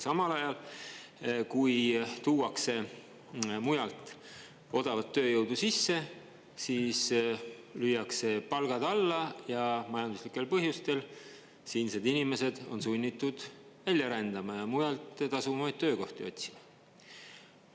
Samal ajal kui tuuakse mujalt odavat tööjõudu sisse, siis lüüakse palgad alla ja majanduslikel põhjustel siinsed inimesed on sunnitud välja rändama ja mujalt tasuvamaid töökohti otsima.